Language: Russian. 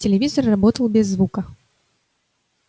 телевизор работал без звука